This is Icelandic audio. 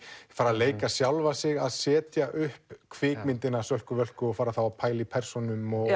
fara að leika sjálfa sig að setja upp kvikmyndina Sölku Völku og fara þá að pæla í persónum og